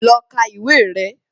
Lọ ka ìwé rẹ̀